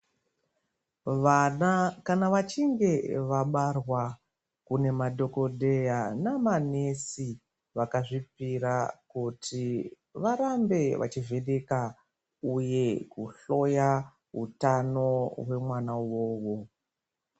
Vana kana vachinge vabarwa kune madhokodheya namanesi vakazvipira kuti varambe vachizvipika uye kuhloya utano hwamwana uvovo.